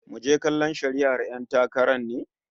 Muje kallon shari'ar 'yan takarar ne?